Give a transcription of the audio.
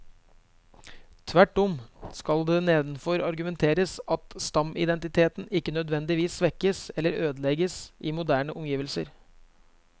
Tvert om skal det nedenfor argumenteres at stammeidentiteten ikke nødvendigvis svekkes eller ødelegges i moderne omgivelser.